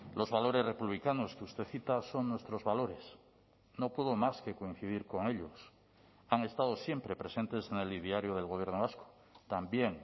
los valores republicanos que usted cita son nuestros valores no puedo más que coincidir con ellos han estado siempre presentes en el ideario del gobierno vasco también